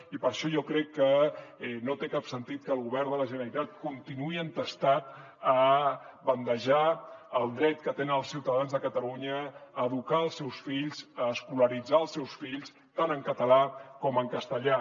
i per això jo crec que no té cap sentit que el govern de la generalitat continuï entestat a bandejar el dret que tenen els ciutadans de catalunya a educar els seus fills a escolaritzar els seus fills tant en català com en castellà